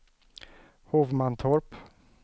Hovmantorp